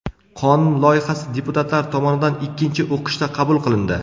Qonun loyihasi deputatlar tomonidan ikkinchi o‘qishda qabul qilindi.